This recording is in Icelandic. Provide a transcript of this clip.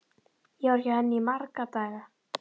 Ég var hjá henni í marga daga.